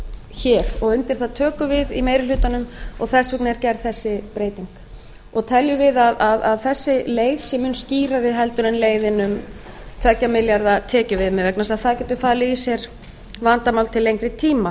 hér og undir það tökum við í meiri hlutanum og þess vegna er gerð þessi breyting teljum við að þessi leið sé mun skýrari en leiðin um tveggja milljarða tekjuviðmið vegna þess að það getur falið í sér vandamál til lengri tíma